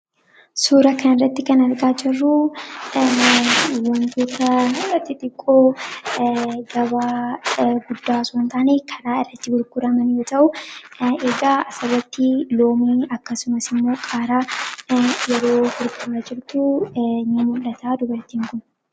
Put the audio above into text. Suura kana irratti kan argaa jirruu wantoota xixiqqoo gabaa guddaa osoo hin taane karaa irratti gurguraman yoo ta'uu egaa asirratti loomii akkasumas immoo qaaraa yeroo burguraa jirtu ni mul, ata dubartiin kun.